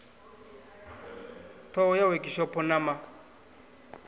ṱhoho ya wekhishopho na ma